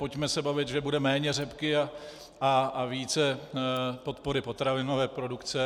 Pojďme se bavit, že bude méně řepky a více podpory potravinové produkce.